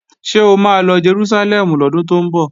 Ṣé o ma lọ Jerúsálẹ́mù lọ́dún tó ń bọ̀?